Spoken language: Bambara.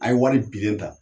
An ye wari bilen ta